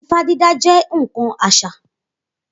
Ifá dídá jẹ́ ǹkan àṣà